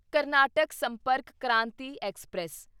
Karnataka Sampark Kranti express